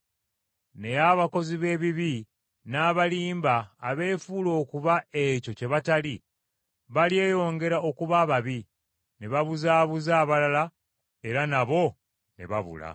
Naye abakozi b’ebibi n’abalimba abeefuula okuba ekyo kye batali balyeyongera okuba ababi, ne babuzaabuza abalala, era nabo ne babula.